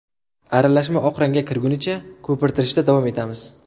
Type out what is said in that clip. Aralashma oq rangga kirgunicha ko‘pirtirishda davom etamiz.